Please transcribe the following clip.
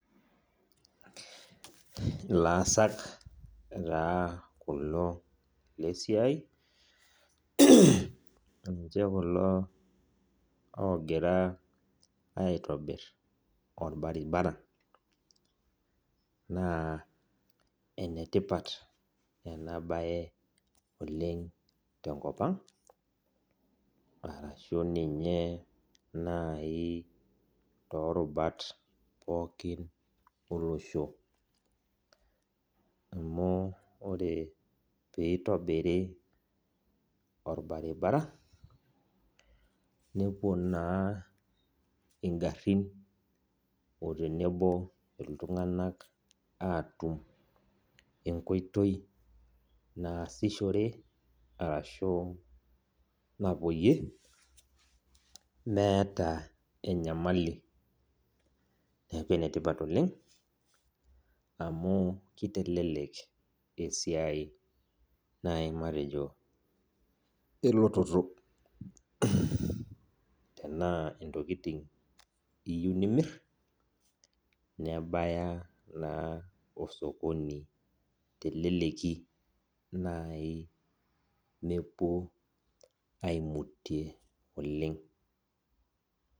Ilaasak taa kulo lesiai, ninche kulo ogira aitobir orbaribara. Naa enetipat enabae oleng tenkop ang', arashu ninye nai torubat pookin olosho. Amu ore pitobiri orbaribara, nepuo naa igarrin o tenebo iltung'anak atum enkoitoi naasishore arashu napuoyie, meeta enyamali. Neeku enetipat oleng, amu kitelelek esiai nai matejo elototo. Tenaa intokiting iyieu nimir, nebaya naa osokoni teleleki nai mepuo aimutie oleng.